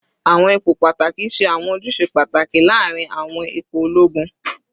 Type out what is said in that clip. Awọn ipo pataki ṣe awọn ojuse pataki laarin awọn ipo ologun